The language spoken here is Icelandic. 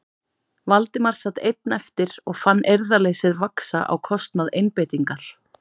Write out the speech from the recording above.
Valdimar sat einn eftir og fann eirðarleysið vaxa á kostnað einbeitingar.